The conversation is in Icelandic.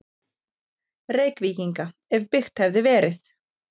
Reykvíkinga, ef byggt hefði verið.